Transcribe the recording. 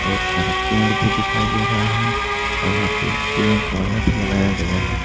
बहुत सारा पेड़ भी दिखाई दे रहा है और यहां पे पेड़ पौधा भी लगाया गया है